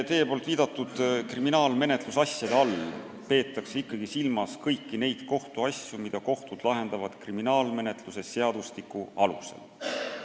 Teie viidatud kriminaalmenetluse asjade all peetakse ikkagi silmas kõiki neid kohtuasju, mida kohtud lahendavad kriminaalmenetluse seadustiku alusel.